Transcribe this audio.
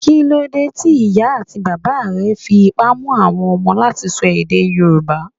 Kí ló dé tí ìyá àti bàbà rẹ fi ipá mú àwọn ọmọ láti sọ èdè Yorùbá?